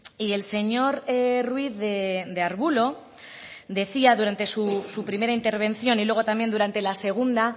y el señor ruiz de arbulo decía durante su primera intervención y luego también durante la segunda